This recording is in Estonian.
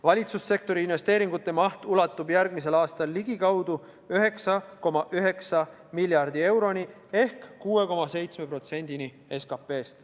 Valitsussektori investeeringute maht on järgmisel aastal ligikaudu 9,9 miljardit eurot ehk 6,7% SKP-st.